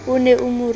e ne e mo rute